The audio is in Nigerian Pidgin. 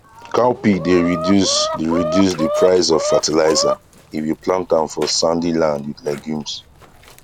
cowpea dey reduce de reduce de price of fertilizer if you plant am for sandy land with legumes